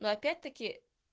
но опять-таки